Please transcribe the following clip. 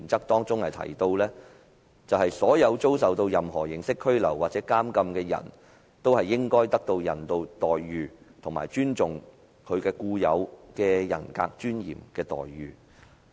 當中提到，所有遭受任何形式拘留或監禁的人都應受到人道待遇，以及尊重其天賦人格尊嚴的待遇。